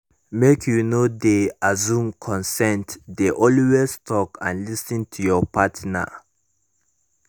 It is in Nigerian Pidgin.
make you no de assume consent de always talk and lis ten to your partner